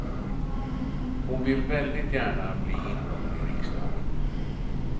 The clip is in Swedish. Hon vill väldigt gärna bli invald i riksdagen.